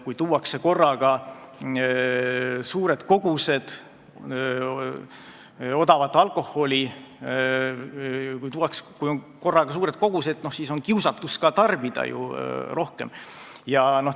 Kui tuuakse korraga suuri koguseid odavat alkoholi, siis on kiusatus ju ka rohkem tarbida.